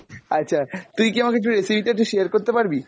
আচ্ছা তুই কি আমাকে একটু recipe টা একটু share করতে পারবি?